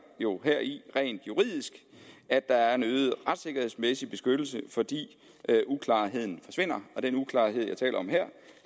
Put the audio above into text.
jo heri rent juridisk at der er en øget retssikkerhedsmæssig beskyttelse fordi uklarheden forsvinder den uklarhed jeg taler om her